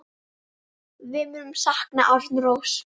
Við munum sakna Arnórs.